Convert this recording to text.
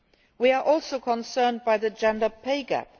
We are also concerned by the gender pay gap.